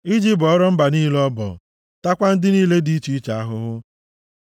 iji bọọrọ mba niile ọbọ taakwa ndị niile dị iche iche ahụhụ,